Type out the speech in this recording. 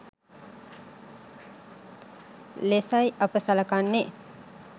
ලෙසයි අප සලකන්නේ.